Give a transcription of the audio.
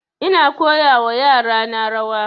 Ina koya wa yara na rawa